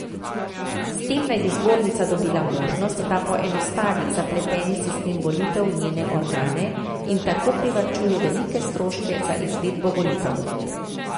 S tem naj bi zbornica dobila možnost, da poenostavi zapleteni sistem volitev v njene organe in tako privarčuje velike stroške za izvedbo volitev.